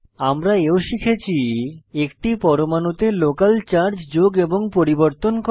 আমরা এও শিখেছি একটি পরমাণুতে লোকাল চার্জ যোগ এবং পরিবর্তন করা